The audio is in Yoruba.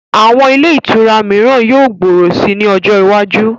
Àwọn ilé ìtura mìíran yóò gbòòrò si ní ọjọ iwájú